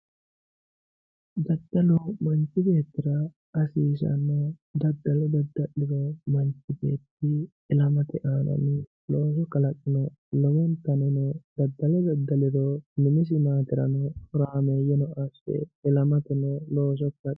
Daddalu manchu beettira hasiisanoho daddalo dadda'liro manchi beetti ilamate aana looso kalaqe lowo gaweno daddalo daddaliro minisi maaterano horameyeno asse ilamateno looso kalaqe.